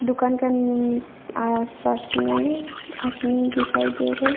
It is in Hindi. दुकान का नी आस पास में आदमी दिखाई दे रहे--